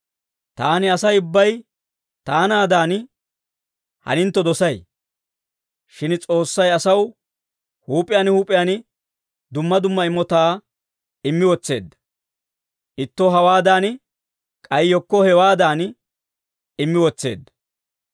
Taani Asay ubbay taanaadan hanintto dosay. Shin S'oossay asaw huup'iyaan huup'iyaan dumma dumma imotaa immi wotseedda; ittoo hawaadan, k'ay yekkoo hewaadan immi wotseedda.